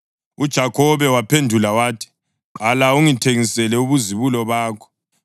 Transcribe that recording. UJakhobe waphendula wathi, “Qala ungithengisele ubuzibulo bakho.”